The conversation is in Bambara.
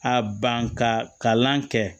A ban ka kalan kɛ